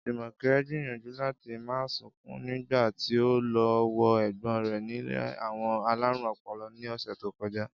Jùmò̩ké̩ gbìyànjú láti má sunkún nígbà tí ó lo̩ wo è̩gbó̩n rè̩ nílé àwo̩n alárùn o̩po̩lo̩ ní ò̩sè̩ tó ko̩já